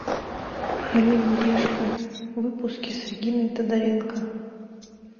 орел и решка выпуски с региной тодоренко